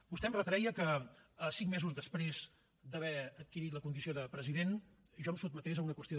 vostè em retreia que cinc mesos després d’haver adquirit la condició de president jo em sotmetés a una qüestió